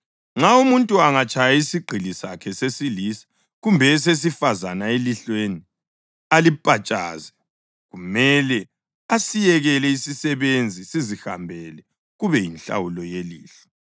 Nxa umuntu angatshaya isigqili sakhe sesilisa kumbe esesifazane elihlweni alipatshaze, kumele asiyekele isisebenzi sizihambele kube yinhlawulo yelihlo.